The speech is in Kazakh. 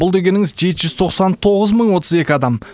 бұл дегеніңіз жеті жүз тоқсан тоғыз мың отыз екі адам